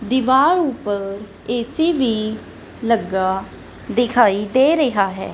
ਦਿਵਾਰ ਊਪਰ ਏ_ਸੀ ਵੀ ਲੱਗਾ ਦਿਖਾਈ ਦੇ ਰਿਹਾ ਹੈ।